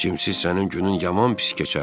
Cimsiz sənin günün yaman pis keçərdi.